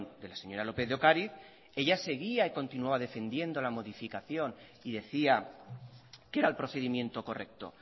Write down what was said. de la señora lópez de ocariz ella seguía y continuaba defendiendo la modificación y decía que era el procedimiento correcto